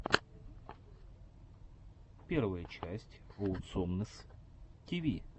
первая часть оусомнесс ти ви